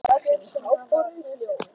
Allt er það sem háborið hjóm.